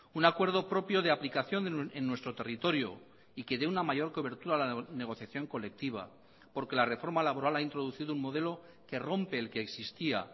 un acuerdo propio de aplicación en nuestro territorio y que dé una mayor cobertura a la negociación colectiva porque la reforma laboral ha introducido un modelo que rompe el que existía